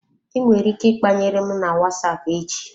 I nwere ike ikpanyere m na WhatsApp echi.